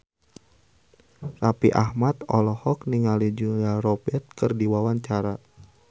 Raffi Ahmad olohok ningali Julia Robert keur diwawancara